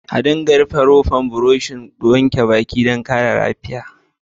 A dinga rufe rofar burushin wanke baki dan kare lafiya.